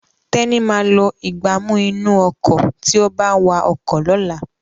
Teni má lo Ìgbánú inú ọkọ̀ tíó bá wá ọkọ̀ lọ̀la